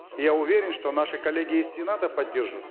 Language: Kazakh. я уверен что наши коллеги из сената поддержат